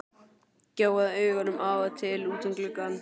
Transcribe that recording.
Gjóaði augunum af og til út um gluggann.